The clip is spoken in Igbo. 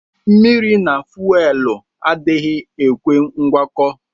Mmiri na fuelu adighi ekwe ngwakọ.